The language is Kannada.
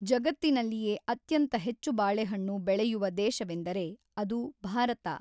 ಜಗತ್ತಿನಲ್ಲಿಯೇ ಅತ್ಯಂತ ಹೆಚ್ಚು ಬಾಳೆಹಣ್ಣು ಬೆಳೆಯುವ ದೇಶವೆಂದರೆ ಅದು ಭಾರತ.